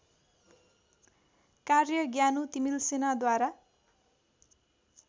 कार्य ज्ञानु तिमल्सिनाद्वारा